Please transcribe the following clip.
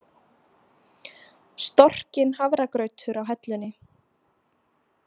Storkinn hafragrautur á hellunni.